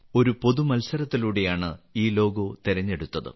ഒരു ജനകീയ മത്സരത്തിലൂടെയാണ് ഈ ലോഗോ തിരഞ്ഞെടുത്തത്